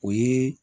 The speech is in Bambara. O ye